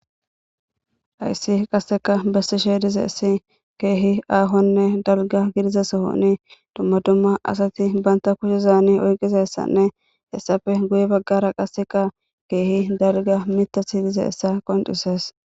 Hays qaseka besishe dizays keeh aahonne dalga gidida sohon dumma dumma asat banta kushezani oykizaysani hesappe guye bagara qaseka keeh dalga mithati dizaysa qoncises.